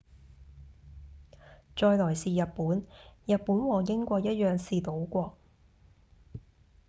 再來是日本日本和英國一樣是島國